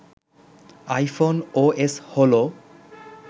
iPhone OS হলো